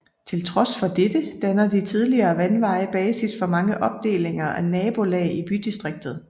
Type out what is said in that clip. Til trods for dette danner de tidligere vandveje basis for mange opdelinger af nabolag i bydistriktet